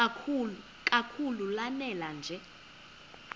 kakhulu lanela nje